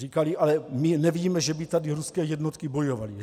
Říkali: Ale my nevíme, že by tady ruské jednotky bojovaly.